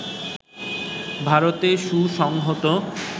ভারতে সুসংহত